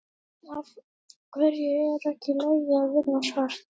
Björn: Af hverju er ekki í lagi að vinna svart?